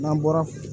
N'an bɔra